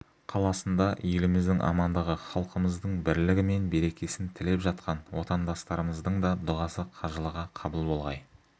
қаласында еліміздің амандығы халқымыздың бірлігі мен берекесін тілеп жатқан отандастырымыздың да дұғасы қажылығы қабыл болғай